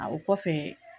A o kɔfɛ